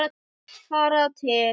Fara til